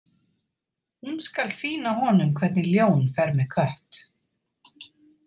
Hún skal sýna honum hvernig ljón fer með kött.